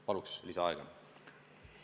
Palun lisaaega!